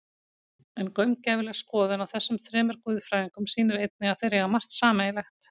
En gaumgæfileg skoðun á þessum þremur guðfræðingum sýnir einnig að þeir eiga margt sameiginlegt.